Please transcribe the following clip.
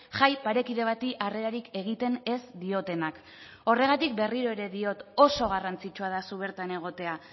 jai parekide bati harrerarik egiten ez diotenak horregatik berriro ere diot oso garrantzitsua da zu bertan egotea